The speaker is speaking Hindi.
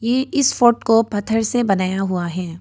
ये इस फोर्ट को पत्थर से बनाया हुआ है।